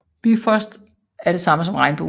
Bifrost er det samme som regnbuen